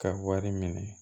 Ka wari minɛ